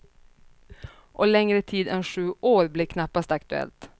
Och längre tid än sju år blir knappast aktuellt.